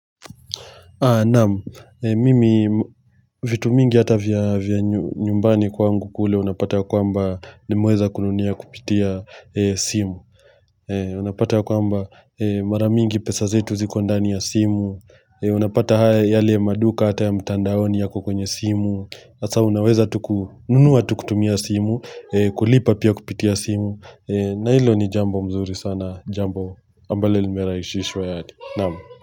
Naam, eee mimi mmm vitu mingi hata vya vya nyu nyumbani kwangu kule unapata kwamba nimeza kununia kupitia simu Unapata kwamba ee mara mingi pesa zetu ziko ndani ya simu ee Unapata haya yale maduka hata ya mtandaoni yako kwenye simu Sasa unaweza tu kununua tu kutumia simu eeeee, kulipa pia kupitia simu ee na hilo ni jambo mzuri sana, jambo ambale limeraishishwa yad naam.